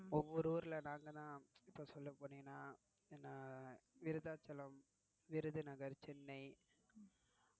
ஒவ்வரு ஊர்ல நாங்க தான் இப்போ சொல்ல போனீங்கன்னா விருத்தாச்சலம், விருதுநகர், சென்னை